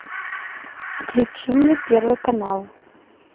включи мне первый канал